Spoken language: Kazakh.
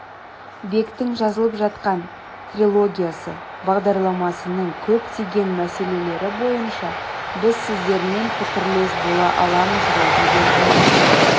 бектің жазылып жатқан трилогиясы бағдарламасының көптеген мәселелері бойынша біз сіздермен пікірлес бола аламыз ғой деген үміттемін